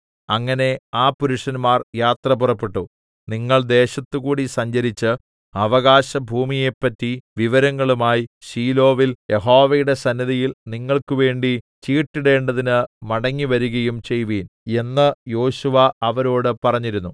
അങ്ങനെ ആ പുരുഷന്മാർ യാത്ര പുറപ്പെട്ടു നിങ്ങൾ ദേശത്തുകൂടി സഞ്ചരിച്ച് അവകാശഭൂമിയെപ്പറ്റി വിവരങ്ങളുമായി ശീലോവിൽ യഹോവയുടെ സന്നിധിയിൽ നിങ്ങൾക്കുവേണ്ടി ചീട്ടിടേണ്ടതിന് മടങ്ങിവരികയും ചെയ്‌വിൻ എന്ന് യോശുവ അവരോട് പറഞ്ഞിരുന്നു